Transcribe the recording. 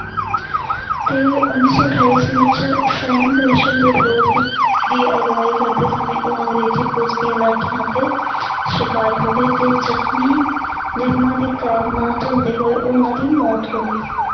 ਤੇ ਉਨੀ ਸੌ ਅਠਾਈ ਈਸਵੀ ਵਿੱਚ ਸਾਇਮਨ ਕਮਿਸ਼ਨ ਦੇ ਵਿਰੋਧ ਦੀ ਅਗਵਾਈ ਕਰਦੇ ਸਮੇਂ ਉਹ ਅੰਗਰੇਜ਼ੀ ਪੁਲਿਸ ਦੀਆਂ ਲਾਠੀਆਂ ਅਤੇ ਸ਼ਿਕਾਰ ਹੋ ਗਏ ਤੇ ਜ਼ਖ਼ਮੀ ਝੱਲਦੇ ਹੋਏ ਉਹਨਾਂ ਦੀ ਮੌਤ ਹੋ ਗਈ ਸੀ।